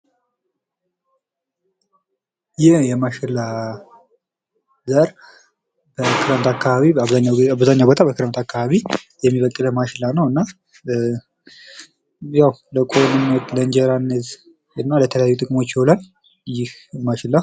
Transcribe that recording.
ይህ የማሽላ ዘር በክረምት አካባቢ በአብዛኛው ቦታ በክረምት አካባቢ የሚበቅል ማሽላ ነው። እና ለቆሎነት ለእንጀራነት እና ለተለያዩ ጥቅሞች ይዉላል። ይህ ማሽላ።